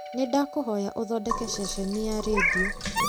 nĩ ndakũhoya ũthondeke ceceni ya rĩndiũ